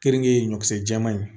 Keninke ye ɲɔgɔn ye